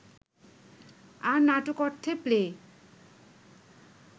আর নাটক অর্থে প্লে